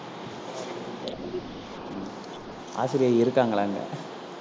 ஆசிரியை இருக்காங்களாங்க